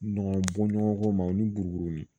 Ɲɔgɔn bɔ ɲɔgɔn ko ma o ni burukurunin